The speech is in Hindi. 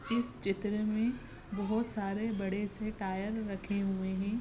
इस चित्र मे बहोत सारे बड़ेसे टायर रखे हुए है।